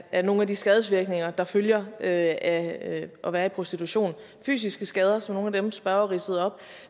af nogle af de skadevirkninger der følger af af at være i prostitution fysiske skader som nogle af dem spørgeren ridsede op